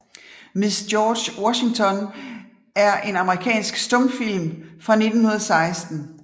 Miss George Washington er en amerikansk stumfilm fra 1916 af J